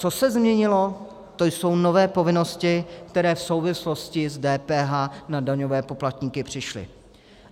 Co se změnilo, to jsou nové povinnosti, které v souvislosti s DPH na daňové poplatníky přišly.